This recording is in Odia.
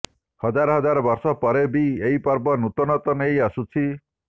ହଜାର ହଜାର ବର୍ଷ ପରେ ବି ଏଇ ପର୍ବ ନୂତନତ୍ୱ ନେଇ ଆସୁଛି